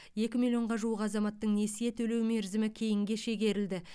екі миллионға жуық азаматтың несие төлеу мерзімі кейінге шегерілді